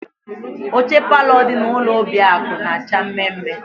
Oche palọ dị na ụlọ Obiakụ na-acha mme mme.